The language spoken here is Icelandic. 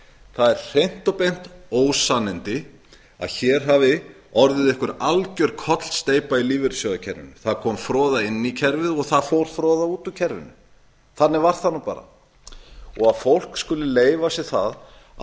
það eru hreint og beint ósannindi að hér hafi orðið einhver algjör kollsteypa í lífeyrissjóðakerfinu það kom froða inn í kerfið og það fór froða út úr kerfinu þannig var það bara að fólk skuli leyfa sér að segja að það eigi